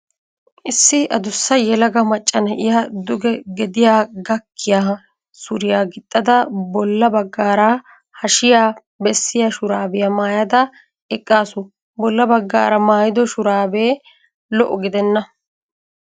Issi adussa yelaga macca na'iya duge gediya gakkiya suriya gixxada bolla baggaara hashiya bessiya shuraabiya maayada eqqaasu. Bolla baggaara maayido shuraabe lo'o gidenna.